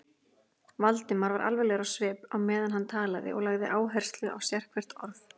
Valdimar var alvarlegur á svip, meðan hann talaði, og lagði áherslu á sérhvert orð.